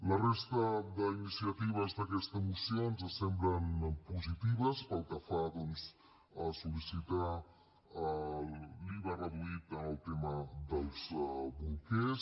la resta d’iniciatives d’aquesta moció ens semblen positives pel que fa a doncs sollicitar l’iva reduït en el tema dels bolquers